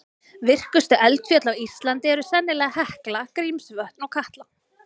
Virkustu eldfjöll á Íslandi eru sennilega Hekla, Grímsvötn og Katla.